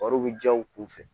Wariw bɛ diya u kun fɛ